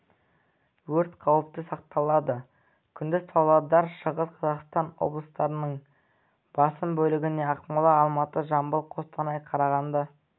өрт қаупі сақталады күндіз павлодар шығыс қазақстан облыстарының басым бөлігінде ақмола алматы жамбыл қостанай қарағанды